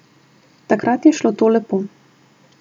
Takrat je šlo to lepo.